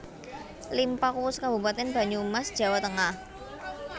Limpakuwus kabupatèn Banyumas Jawa tengah